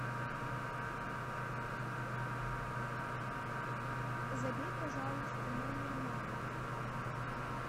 забей пожалуйста номер мамы